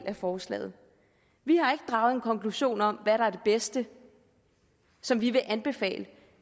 af forslaget vi har ikke draget en konklusion om hvad der er det bedste som vi vil anbefale